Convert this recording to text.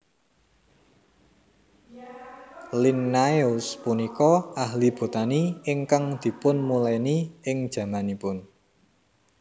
Linnaeus punika ahli botani ingkang dipunmulèni ing jamanipun